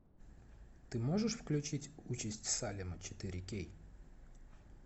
ты можешь включить участь салема четыре кей